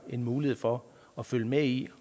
en mulighed for at følge med i